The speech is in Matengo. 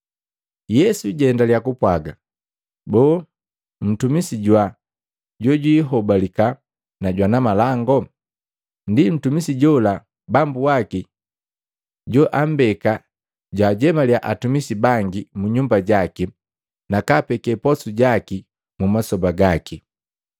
Yesu jaendaliya kupwaaga, “Boo, ntumisi jwaa jojwiihobalika na jwana malangu? Ndi ntumisi jola bambu waki joambeka jwaajemaliya atumisi bangi mu nyumba jaki na kaapeke posu jaki mu masoba gake.